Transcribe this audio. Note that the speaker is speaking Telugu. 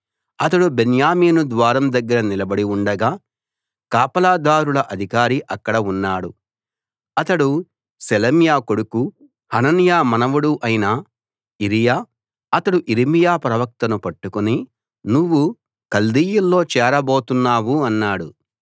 అతడు బెన్యామీను ద్వారం దగ్గర నిలబడి ఉండగా కాపలాదారుల అధికారి అక్కడ ఉన్నాడు అతడు షెలెమ్యా కొడుకు హనన్యా మనవడు అయిన ఇరీయా అతడు యిర్మీయా ప్రవక్తను పట్టుకుని నువ్వు కల్దీయుల్లో చేరబోతున్నావు అన్నాడు